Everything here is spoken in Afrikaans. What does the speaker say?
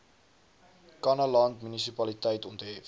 kannaland munisipaliteit onthef